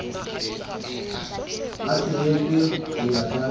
a sehetswe ho ya ka